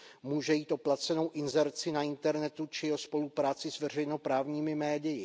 Může jít o placenou inzerci na internetu či o spolupráci s veřejnoprávními médii.